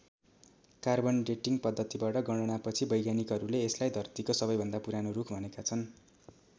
Carbon dating पद्धतिबाट गणनापछि वैज्ञानिकहरूले यसलाई धरतीको सबैभन्दा पुरानो रुख भनेका छन्।